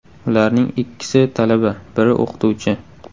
Ularning ikkisi talaba, biri o‘qituvchi.